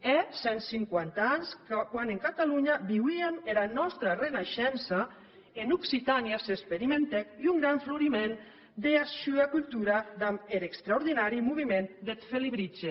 hè cent cinquanta ans quan en catalonha viuíem era nòsta reneishença en occitània s’experimentèc un gran floriment dera sua cultura damb er extraordinari movement deth felibritge